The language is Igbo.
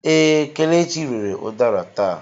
Ee, Kelechi rere udara taa.